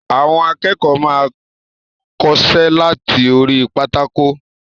Àwọn akẹ́kọ̀ọ́ máa n kọsẹ́ lati orí pátákó.